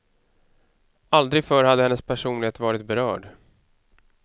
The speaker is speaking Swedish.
Aldrig förr hade hennes personlighet varit berörd.